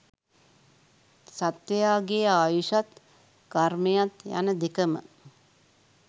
සත්වයාගේ ආයුෂත් කර්මයත් යන දෙකම